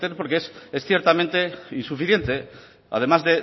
porque es ciertamente insuficiente además